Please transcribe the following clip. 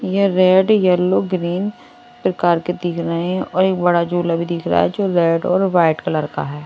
ये red yellow green प्रकार के दिख रहे हैं और एक बड़ा झूला भी दिख रहा है जो रेड और व्हाइट कलर का है।